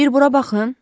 Bir bura baxın.